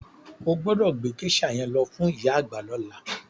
O gbọ́dọ̀ gbé géṣà yẹn lọ fún ìyá àgbà lọ́la.